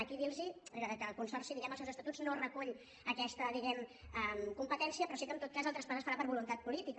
aquí dir·los que el con·sorci diguem·ne als seus estatuts no recull aquesta competència però sí que en tot cas el traspàs es farà per voluntat política